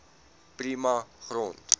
prima grond